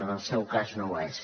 en el seu cas no ho és